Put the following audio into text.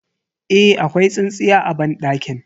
Eh, akwai tsintsiya a banɗakin.